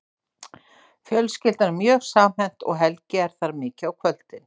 Fjölskyldan er mjög samhent og Helgi er þar mikið á kvöldin.